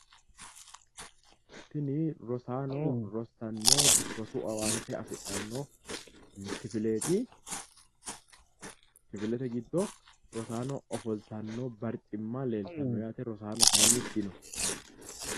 Tini rosaano rossanno rosu owaante afidhanno kifileeti , kifilete giddo rosaano ofoltanno barcimma leeltano yaate rosaano kayinni dino.